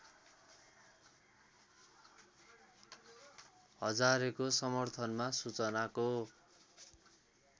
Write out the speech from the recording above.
हजारेको समर्थनमा सूचनाको